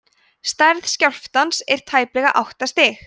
stærð skjálftans var tæplega átta stig